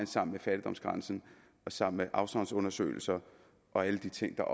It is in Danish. sammen med fattigdomsgrænsen og sammen med afsavnsundersøgelser og alle de ting der